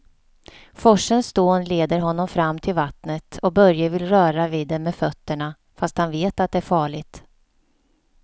Forsens dån leder honom fram till vattnet och Börje vill röra vid det med fötterna, fast han vet att det är farligt.